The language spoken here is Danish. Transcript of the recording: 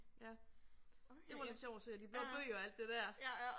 Ja. Det var lidt sjov at se og de blå bøger og alt det der